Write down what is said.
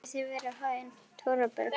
Gangi þér allt í haginn, Thorberg.